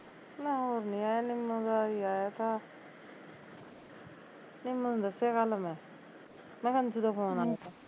ਲੈ ਹੋਰ ਨੀ ਆਇਆ ਨਿਮੋ ਦਾ ਹੋਈ ਆਇਆ ਤਾ ਨਿਮੋ ਨੂੰ ਦੱਸਿਆ ਕੱਲ ਮੈਂ ਮੈਂ ਕਿਹਾਂ ਨੀਤੂ ਦਾ phone ਆਇਆ ਥਾ